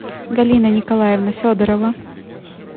галина николаевна федорова